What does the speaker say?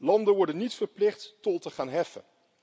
Landen worden niet verplicht tol te gaan heffen.